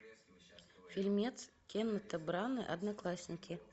фильмец кеннета брана одноклассники